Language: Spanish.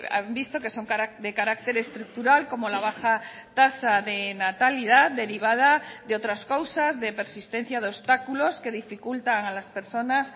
han visto que son de carácter estructural como la baja tasa de natalidad derivada de otras causas de persistencia de obstáculos que dificultan a las personas